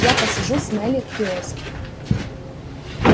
я посижу с мелли в киоске